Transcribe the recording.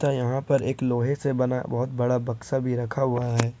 यहां पर एक लोहे से बना बहुत बड़ा बक्सा भी रखा हुआ है।